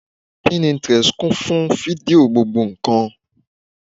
Pinterest kún fún fídíò gbogbo ǹkan